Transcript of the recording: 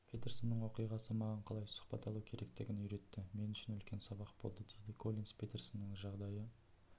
петерсонның оқиғасы маған қалай сұхбат алу керектігін үйретті мен үшін үлкен сабақ болды дейді коллинс петерсонның жағдайы